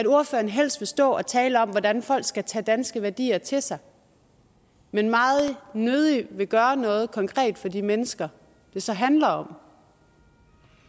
ordføreren helst vil stå og tale om hvordan folk skal tage danske værdier til sig men meget nødig vil gøre noget konkret for de mennesker det så handler om